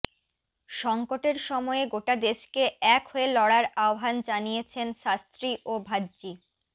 সঙ্কটের সময়ে গোটা দেশকে এক হয়ে লড়ার আহ্বান জানিয়েছেন শাস্ত্রী ও ভাজ্জি